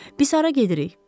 Biz hara gedirik?